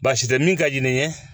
Baasi tɛ min ka di ne ye